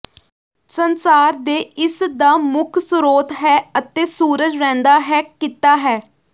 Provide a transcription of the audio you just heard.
ਸੰਸਾਰ ਦੇ ਇਸ ਦਾ ਮੁੱਖ ਸਰੋਤ ਹੈ ਅਤੇ ਸੂਰਜ ਰਹਿੰਦਾ ਹੈ ਕੀਤਾ ਹੈ